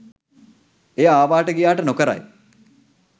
එය ආවාට ගියාට නොකරයි